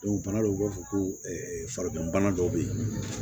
bana dɔw b'a fɔ ko farigan bana dɔw bɛ yen